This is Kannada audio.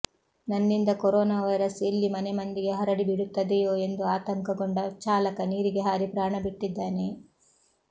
ನನ್ನಿಂದ ಕೊರೊನಾ ವೈರಸ್ ಎಲ್ಲಿ ಮನೆ ಮಂದಿಗೆ ಹರಡಿ ಬಿಡುತ್ತದೆಯೋ ಎಂದು ಆತಂಕಗೊಂಡ ಚಾಲಕ ನೀರಿಗೆ ಹಾರಿ ಪ್ರಾಣ ಬಿಟ್ಟಿದ್ದಾನೆ